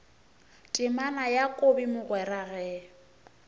temana ya kobi mogwera ge